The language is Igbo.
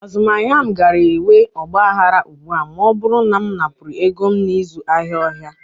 Azụmahịa m gaara enwe ọgba aghara ugbu a ma ọ bụrụ na m napụrụ ego m n'ịzụ ahịa ọhịa.